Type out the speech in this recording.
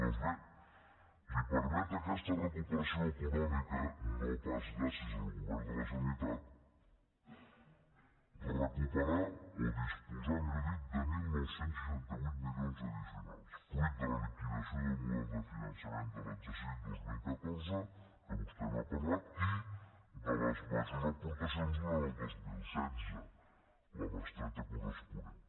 doncs bé li permet aquesta recuperació econòmica no pas gràcies al govern de la generalitat recuperar o disposar millor dit de dinou seixanta vuit milions addicionals fruit de la liquidació del model de finançament de l’exercici dos mil catorze que vostè n’ha parlat i de les majors aportacions durant el dos mil setze la bestreta corresponent